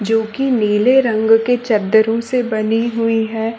जो कि नीले रंग से चददरों से बनी हुई है।